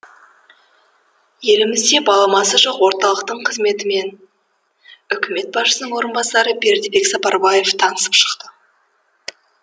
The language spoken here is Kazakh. елімізде баламасы жоқ орталықтың қызметімен үкімет басшысының орынбасары бердібек сапарбаев танысып шықты